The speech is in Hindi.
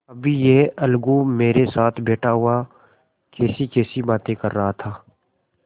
अभी यह अलगू मेरे साथ बैठा हुआ कैसीकैसी बातें कर रहा था